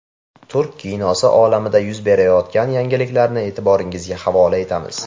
Turk kinosi olamida yuz berayotgan yangiliklarni e’tiboringizga havola etamiz.